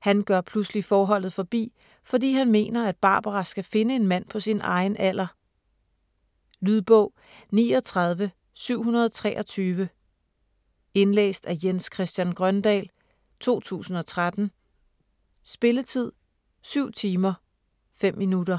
Han gør pludselig forholdet forbi, fordi han mener, at Barbara skal finde en mand på sin egen alder. Lydbog 39723 Indlæst af Jens Christian Grøndahl, 2013. Spilletid: 7 timer, 5 minutter.